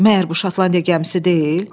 Məgər bu Şotlandiya gəmisi deyil?